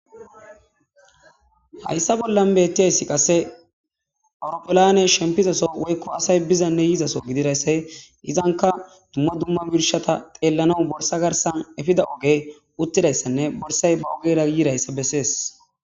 Hayssa bollan bettiyayssi qasse awuropelane shempizaso woykko asay bizanne yizaso gididayssay izanka dumma dumma mishata xeellana borsa garsan efida oge uttidayssanne borsay ba ogerayiirayssa bessees.